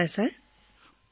hello sir hello